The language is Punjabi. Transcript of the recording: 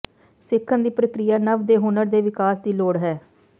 ਸਿੱਖਣ ਦੀ ਪ੍ਰਕਿਰਿਆ ਨਵ ਦੇ ਹੁਨਰ ਦੇ ਵਿਕਾਸ ਦੀ ਲੋੜ ਹੈ